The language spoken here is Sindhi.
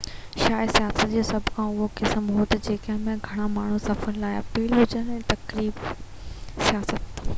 شايد سياحت جو سڀ کان اهم قسم اهو آهي تہ جنهن ۾ گهڻا ماڻهو سفر سان لاپيل هجن تفريح سياحت